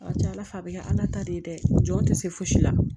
A ka ca ala fɛ a bɛ kɛ ala ta de ye dɛ o jɔn tɛ se fosi la